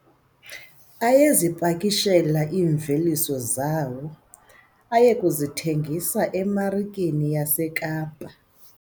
Ayezipakishela iimveliso zawo aze aye kuzithengisa emarikeni yaseKapa.